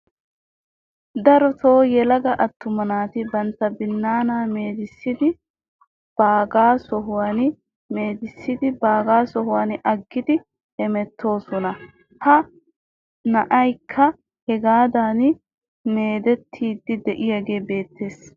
Daro yelaga attuma naati bantta binnaanaa meedissiiddi bagga sohuwan meedissiiddi bagga sohuwa aggidi hemettoosona. Ha na'ayikka hegaadan meedettidi diyagee beettees.